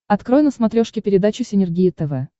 открой на смотрешке передачу синергия тв